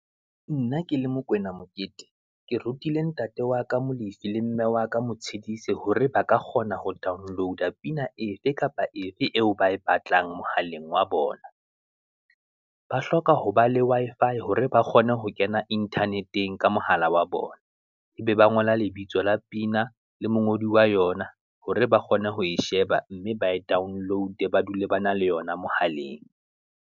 Nna ke le Mokoena Mokete, ke rutile ntate wa ka Molefi le mme wa ka Motshidise, hore ba ka kgona ho download-a pina efe kapa efe eo ba e batlang mohaleng wa bona, ba hloka ho ba le Wi-Fi hore ba kgone ho kena Internet-eng ka mohala wa bona. E be ba ngola lebitso la pina le mongodi wa yona, hore ba kgone ho e sheba, mme ba e download-e ba dule ba na le yona mohaleng.